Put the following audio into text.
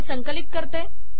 मी हे संकलित करते